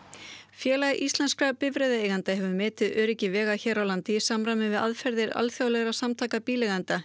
félag íslenskra bifreiðaeigenda hefur metið öryggi vega hér á landi í samræmi við aðferðir alþjóðlegra samtaka bíleigenda